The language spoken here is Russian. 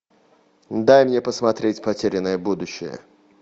дай мне посмотреть потерянное будущее